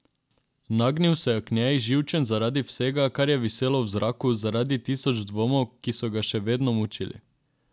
Nagnil se je k njej, živčen zaradi vsega, kar je viselo v zraku, zaradi tisoč dvomov, ki so ga še vedno mučili.